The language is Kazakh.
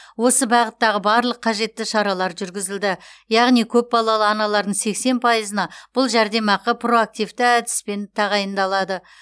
осы бағыттағы барлық қажетті шаралар жүргізілді яғни көпбалалы аналардың сексен пайызына бұл жәрдемақы проактивті әдіспен тағайындалады